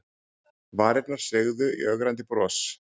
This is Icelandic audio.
Varirnar sveigðar í ögrandi bros.